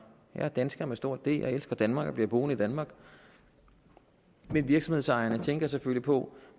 jeg er dansker med stort d og jeg elsker danmark og bliver boende i danmark men virksomhedsejerne tænker selvfølgelig på